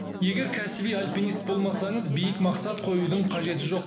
егер кәсіби альпинист болмасаңыз биік мақсат қоюдың қажеті жоқ